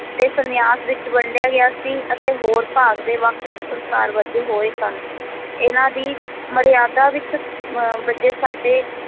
ਤੇ ਸੰਨਿਆਸ ਵਿੱਚ ਵੰਡਿਆ ਗਿਆ ਸੀ ਅਤੇ ਹੋਰ ਭਾਗ ਦੇ ਵੱਖ-ਵੱਖ ਸੰਸਕਾਰ ਬੱਝੇ ਹੋਏ ਸਨ ਇਹਨਾਂ ਦੀ ਮਰਿਆਦਾ ਵਿੱਚ ਮ ਬੱਝੇ ਸਾਡੇ